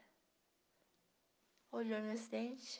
Olhou meus dentes.